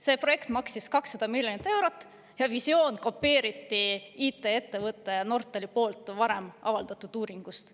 See projekt maksis 200 miljonit eurot ja visioon kopeeriti IT-ettevõtte Nortal poolt varem avaldatud uuringust.